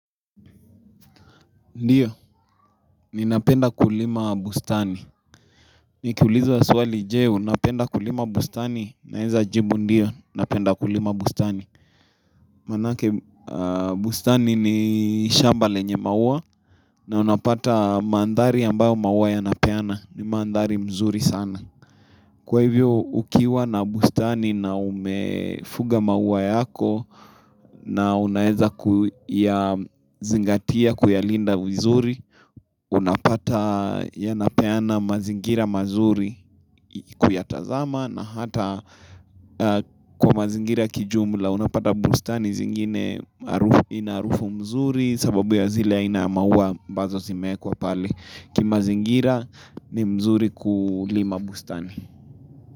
Ndiyo, ninapenda kulima bustani. Nikiulizwa swali, je, unapenda kulima bustani? Naeza jibu ndiyo, napenda kulima bustani. Manake bustani ni shamba lenye maua, na unapata mandhari ambayo maua yanapeana, ni mandhari mzuri sana. Kwa hivyo, ukiwa na bustani na umefuga maua yako, na unaeza kuyazingatia kuyalinda vizuri, unapata yanapeana mazingira mazuri kuyatazama na hata kwa mazingira kijumla, unapata bustani zingine ina harufu mzuri sababu ya zile aina ya maua ambazo zimewekwa pale. Kimazingira ni mzuri kulima bustani.